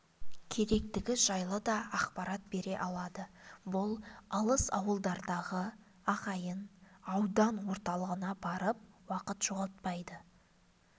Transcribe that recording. керектігі жайлы да ақпарат бере алады бұл алыс ауылдардағы ағайын аудан орталығына барып уақыт жоғалтпайды